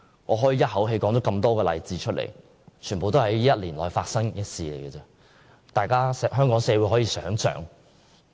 我剛才一口氣舉出多個例子，全是本年內發生，香港社會可以思考一下。